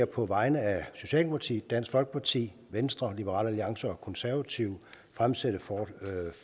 på vegne af socialdemokratiet dansk folkeparti venstre liberal alliance og konservative fremsætte